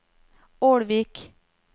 Ålvik